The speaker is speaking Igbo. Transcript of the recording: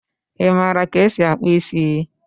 Imara ka esi akpụ isi?